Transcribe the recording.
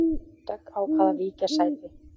Dögg ákvað að víkja sæti